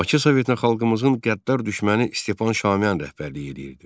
Bakı Sovetinə xalqımızın qəddar düşməni Stepan Şaumyan rəhbərlik eləyirdi.